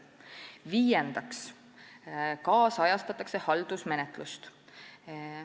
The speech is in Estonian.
Viiendaks ajakohastatakse haldusmenetlust.